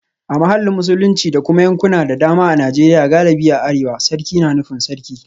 A mahallin Musulunci da kuma yankuna da dama a Najeriya galibi a arewa, sarki na nufin Sarki